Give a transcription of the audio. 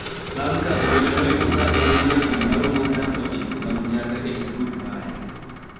bang' ka obila noyudo ka en gi ratil maromo gram ochiko mag njaga e sanduk mare